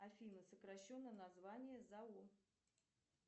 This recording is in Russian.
афина сокращенное название зао